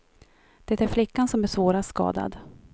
Det är flickan, som är svårast skadad.